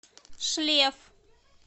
шлеф